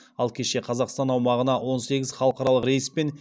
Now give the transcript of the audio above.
ал кеше қазақстан аумағына он сегіз халықаралық рейспен